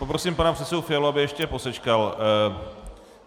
Poprosím pana předsedu Fialu, aby ještě posečkal.